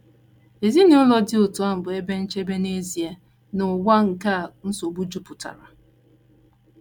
Ezinụlọ dị otú ahụ bụ ebe nchebe n’ezie n’ụwa a nke nsogbu jupụtara.